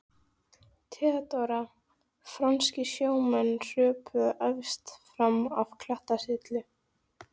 THEODÓRA: Franskir sjómenn hröpuðu efst fram af klettasyllu.